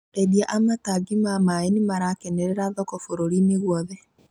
Endia a matangi ma maĩ nĩmarakenerera thoko bũrũri-inĩ guothe